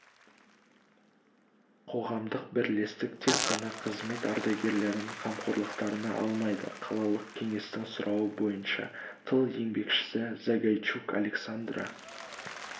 қоғамдық бірлестік тек қана қызмет ардагерлерін қамқорлықтарына алмайды қалалық кеңестің сұрауы бойынша тыл еңбекшісі загайчук александра